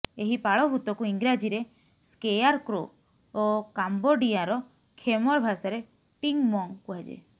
ଏହି ପାଳଭୂତକୁ ଇଂରାଜୀରେ ସ୍କେଆରକ୍ରୋ ଓ କାମ୍ୱୋଡିଆର ଖେମର୍ ଭାଷାରେ ଟିଙ୍ଗ୍ ମଙ୍ଗ୍ କୁହାଯାଏ